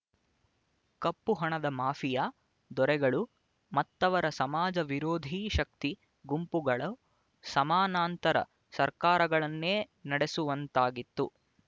ಕಪ್ಪು ಹಣದ ಮಾಫಿಯಾ ದೊರೆಗಳು ಮತ್ತವರ ಸಮಾಜ ವಿರೋಧಿ ಶಕ್ತಿ ಗುಂಪುಗಳು ಸಮಾನಾಂತರ ಸರಕಾರಗಳನ್ನೇ ನಡೆಸುವಂತಾಗಿತ್ತು